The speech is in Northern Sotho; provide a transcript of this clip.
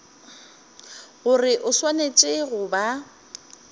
gore o swanetše go ba